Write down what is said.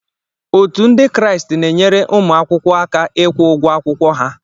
Òtù Ndị Kraịst na-enyere ụmụ akwụkwọ aka ịkwụ ụgwọ akwụkwọ ha